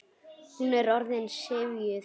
Hún er orðin syfjuð.